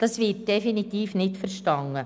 Das wird definitiv nicht verstanden.